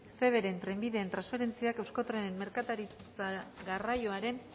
feveren trenbideen transferentziak euskotrenen merkantzia garraioaren